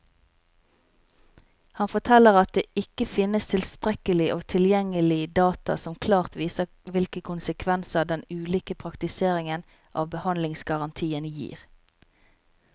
Han forteller at det ikke finnes tilstrekkelig og tilgjengelig data som klart viser hvilke konsekvenser den ulike praktiseringen av behandlingsgarantien gir.